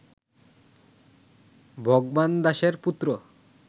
ভগবন দাসের পুত্র